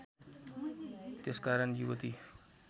त्यसकारण युवती